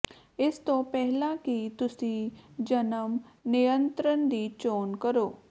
ਇਸ ਤੋਂ ਪਹਿਲਾਂ ਕਿ ਤੁਸੀਂ ਜਨਮ ਨਿਯੰਤਰਣ ਦੀ ਚੋਣ ਕਰੋ